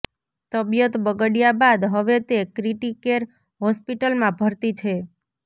તબિયત બગડ્યા બાદ હવે તે ક્રિટી કેર હોસ્પિટલમાં ભરતી છે